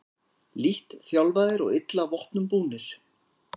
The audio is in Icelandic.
Lítt þjálfaðir og illa vopnum búnir